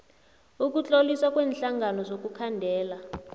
ukutloliswa kweenhlangano zokukhandela